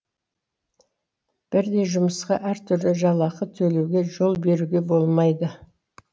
бірдей жұмысқа әртүрлі жалақы төлеуге жол беруге болмайды